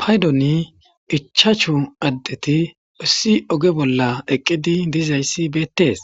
Paydoni ichachu addeti ussi oge bolla eqqidi dizayssi beettees